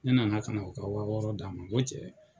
Ne nana ka na u ka wa wɔɔrɔ d'a ma n ko cɛ.